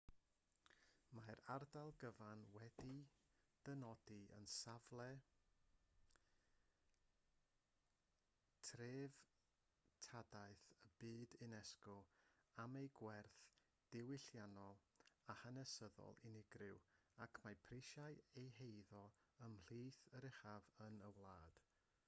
mae'r ardal gyfan wedi'i dynodi yn safle treftadaeth y byd unesco am ei gwerth diwylliannol a hanesyddol unigryw ac mae prisiau ei heiddo ymhlith yr uchaf yn y wlad